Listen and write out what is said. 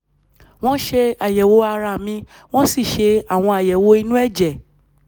wọ́n ṣe àyẹ̀wò ara mi wọ́n sì ṣe àwọn àyẹ̀wò inú ẹ̀jẹ̀